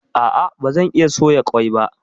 A'a bazan iya soya ƙwai ba